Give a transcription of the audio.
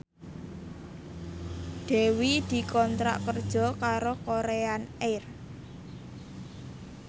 Dewi dikontrak kerja karo Korean Air